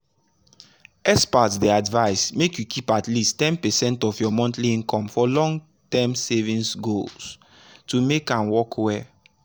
experts dey advise make you keep at least ten percent of your monthly income for long-term savings goals to make am work well.